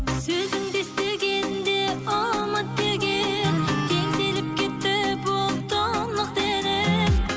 сөзіңді естігенде ұмыт деген теңселіп кетті бұл тұнық денем